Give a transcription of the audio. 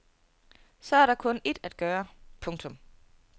Så er der kun ét at gøre. punktum